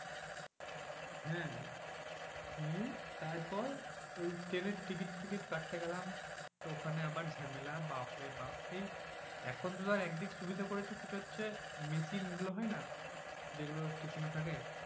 হ্যাঁ নিয়ে তারপর ওই ট্রেনের টিকিট ফিকিট কাটতে গেলাম। ওখানে আবার ঝামেলা বাপ্ রে বাপ্ এই এখন তো ধর একদিক সুবিধে করেছে সেটা হচ্ছে machine গুলো হয়না? যেগুলো স্টেশনে থাকে?